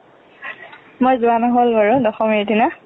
মই যোৱা নহল বাৰু দশমীৰ দিনা।